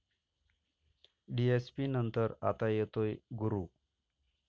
डीएसपी'नंतर आता येतोय 'गुरू'